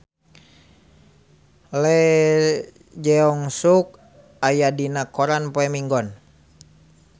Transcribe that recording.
Lee Jeong Suk aya dina koran poe Minggon